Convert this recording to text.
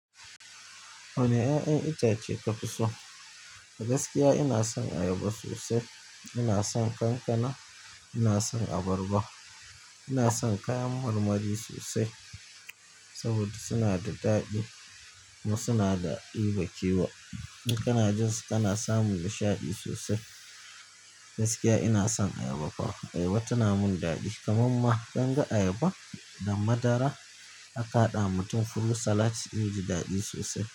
Wane ƴaƴan itace kafi so? Gaskiya ina son ayaba sosai, ina son kankana, ina son abarba, ina son kayan marmari sosai saboda suna da daɗi kuma suna da ɗiba kewa. In kana jin su kana samun nishaɗi sosai. Gaskiya ina son ayaba kuwa, ayaba tana mun daɗi. Kaman ma kin ga ayaba da madara aka haɗa ma mutum fruit salad zai ji daɗi sosai.